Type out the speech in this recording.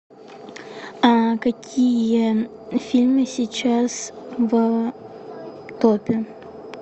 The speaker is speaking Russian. какие фильмы сейчас в топе